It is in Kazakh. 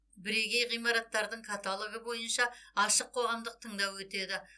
бірегей ғимараттардың каталогы бойынша ашық қоғамдық тыңдау өтеді